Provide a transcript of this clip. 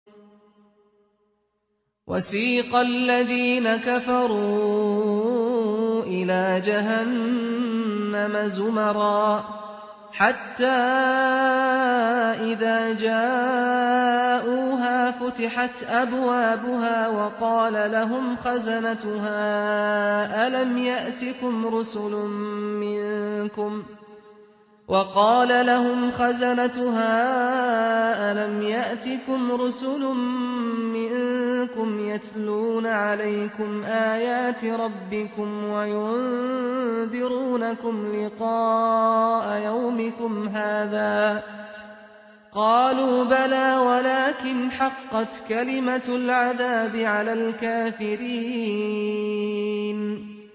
وَسِيقَ الَّذِينَ كَفَرُوا إِلَىٰ جَهَنَّمَ زُمَرًا ۖ حَتَّىٰ إِذَا جَاءُوهَا فُتِحَتْ أَبْوَابُهَا وَقَالَ لَهُمْ خَزَنَتُهَا أَلَمْ يَأْتِكُمْ رُسُلٌ مِّنكُمْ يَتْلُونَ عَلَيْكُمْ آيَاتِ رَبِّكُمْ وَيُنذِرُونَكُمْ لِقَاءَ يَوْمِكُمْ هَٰذَا ۚ قَالُوا بَلَىٰ وَلَٰكِنْ حَقَّتْ كَلِمَةُ الْعَذَابِ عَلَى الْكَافِرِينَ